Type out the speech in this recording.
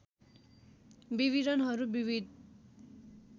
विवरणहरू विविध